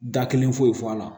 Da kelen foyi fɔ a la